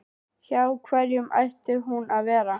Hjá hverjum ætti hún að vera?